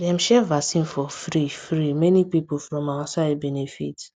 dem share vaccine for free free many people from our side benefit